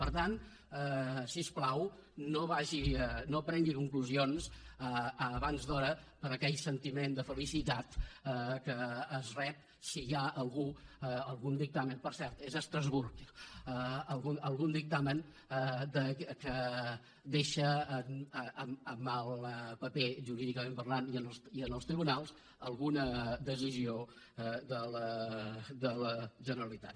per tant si us plau no tregui conclusions abans d’hora per aquell sentiment de felicitat que es rep si hi ha algun dictamen per cert és a estrasburg que deixa en mal paper jurídicament parlant i en els tribunals alguna decisió de la generalitat